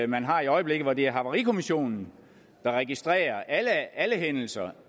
man har i øjeblikket hvor det er havarikommissionen der registrerer alle alle hændelser